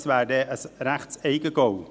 Das wäre ein ziemliches Eigentor.